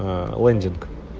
ээ лендинг